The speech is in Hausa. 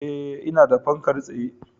Eh, ina da fankar tsaye